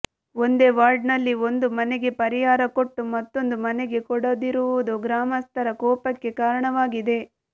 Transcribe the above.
ಒಂದೇ ವಾರ್ಡ್ ನಲ್ಲಿ ಒಂದು ಮನೆಗೆ ಪರಿಹಾರ ಕೊಟ್ಟು ಮತ್ತೊಂದು ಮನೆಗೆ ಕೊಡದಿರುವುದು ಗ್ರಾಮಸ್ಥರ ಕೋಪಕ್ಕೆ ಕಾರಣವಾಗಿದೆ